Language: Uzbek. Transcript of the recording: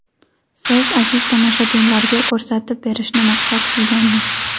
siz aziz tomoshabinlarga ko‘rsatib berishni maqsad qilganmiz.